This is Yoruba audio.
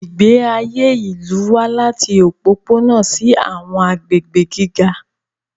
Ìgbé ayé ìlú wà láti òpópónà sí àwọn agbègbè gíga.